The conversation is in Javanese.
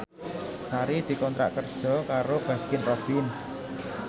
Sari dikontrak kerja karo Baskin Robbins